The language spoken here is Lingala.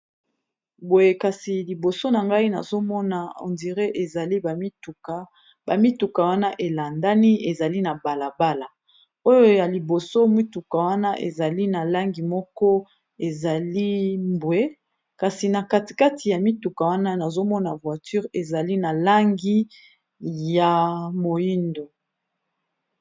Boye kasi liboso na ngai nazomona ondire ezali ba mituka, ba mituka wana elandani ezali na balabala oyo ya liboso mituka wana ezali na langi moko ezali mbwe kasi na kati kati ya mituka wana nazomona voiture ezali na langi ya moyindo.